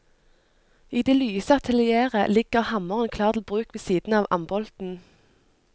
I det lyse atelieret ligger hammeren klar til bruk ved siden av ambolten.